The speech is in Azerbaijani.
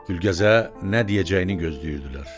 Gülgəzə nə deyəcəyini gözləyirdilər.